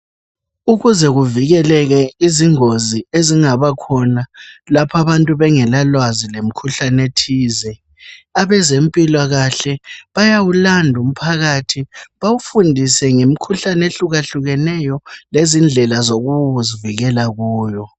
Ukuze kuvikeleke izingozi ezingaba khona lapha abantu bengela lwazi ngemikhuhlane ethize, abezempilakahle bayawulanda umphakathi bawufundise ngemikhuhlane ehlukahlukeneyo lezindlela zokuzivikela kuwo.